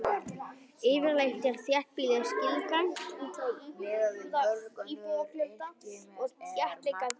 Yfirleitt er þéttbýli skilgreint út frá íbúafjölda og þéttleika byggðarinnar.